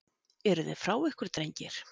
Eruði frá ykkur drengir?